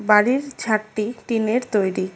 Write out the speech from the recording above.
বাড়ির ছাদটি টিনের তৈরি।